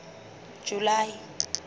july